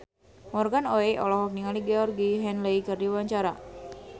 Morgan Oey olohok ningali Georgie Henley keur diwawancara